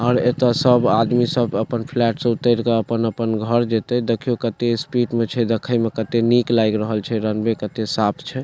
और एते सब आदमी सब अपन फैल्ट से उतैर के अपन-अपन घर जएते देखियाें केते स्पीड मे छै देखे में केते नीक लाग रहल छै रनवे केते साफ छै।